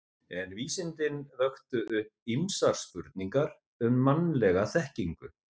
En vísindin vöktu upp ýmsar spurningar um mannlega þekkingu.